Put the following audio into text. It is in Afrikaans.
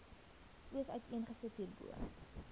soos uiteengesit hierbo